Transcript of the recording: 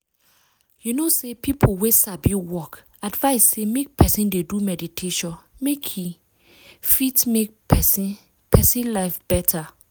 you know say people wey sabi work advice say make person dey do meditation make e wait! fit make person person life better.